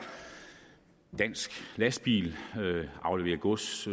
dansk lastbil afleverer gods